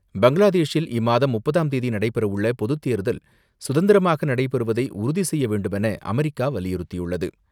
பங்ளாதேஷில் இம்மாதம் முப்பதாம் தேதி நடைபெறவுள்ள பொதுத் தேர்தல் சுதந்திரமாக நடைபெறுவதை உறுதி செய்ய வேண்டுமென அமெரிக்கா வலியுறுத்தியுள்ளது.